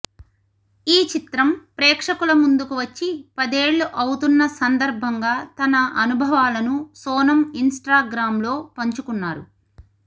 ఈ చిత్రం ప్రేక్షకుల ముందుకు వచ్చి పదేళ్లు అవుతున్న సందర్భంగా తన అనుభవాలను సోనమ్ ఇన్స్టాగ్రామ్లో పంచుకున్నారు